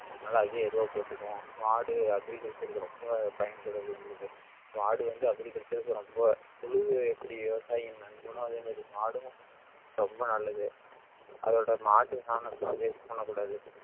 அதனால அதே எருவா போட்டுக்குவோம் மாடு agriculture க்கு ரொம்ப பயன்படக்கூடியது மாடு வந்து agriculture க்கு ரொம்ப புழு எப்படி விவசாயியின் நண்பனோ அதே மாதிரி மாடும் ரொம்ப நல்லது அதோட மாட்டு சாணத்தை எல்லாம் waste பண்ணக் கூடாது.